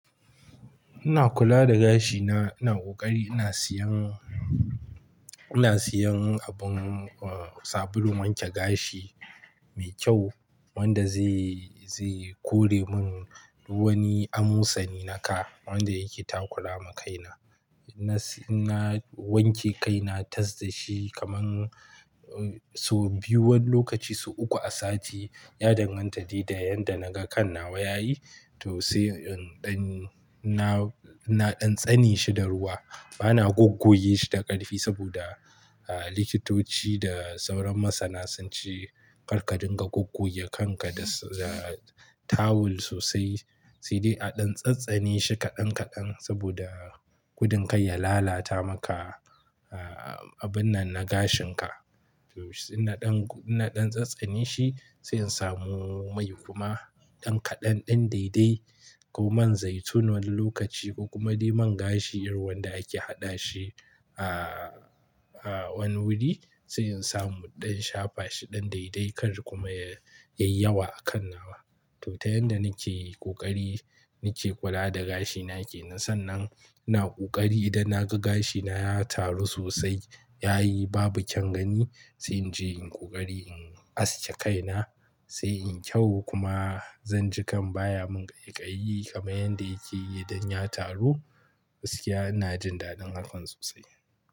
Ina kula da gashi na, ina ƙoƙari ina siyan, ina siyan abin, sabulun wanke gashi mai kyau wanda zai, zai kore mun wani amosani na kai wanda yake takurawa kaina. Ina siya ina wanke kaina, tas da shi kamar, sau biyu wani lokacin sau uku a sati. Ya danganta da yanda naga kan nawa yayi to sai in ɗan, na ɗan tsane shi da ruwa. Bana goggoge shi da ƙarfi saboda, likitoci da sauran masana sun ce karka dinga goggoge kanka da, da tawul sosai. Sai dai a ɗan tsantsane shi kaɗan kaɗan saboda gudun kar ya lalata maka, abun nan na gashin ka. To sai in ɗan, ina ɗan tsantsane shi, sai in samu mai kuma ɗan kaɗan ɗan daidai ko man zaitun wani lokaci ko kuma dai man gashi irin wanda ake haɗa shi a wani wuri. Sai in samu na ɗan shafa shi ɗan daidai kar kuma yayi, yayi yawa a kan nawa. To ta yanda nake ƙoƙari nake kula da gashi na kenan. Na sannan ina ƙoƙari idan naga gashi na ya taru sosai, yayi babu kyan gani sai in je in ƙoƙari in aske kaina sai in kyau kuma zan ji kan baya mun ƙaiƙayi Kamar yanda yake yi idan ya taru. Gaskiya ina jin daɗin hakan sosai.